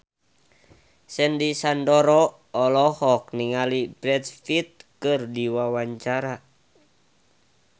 Sandy Sandoro olohok ningali Brad Pitt keur diwawancara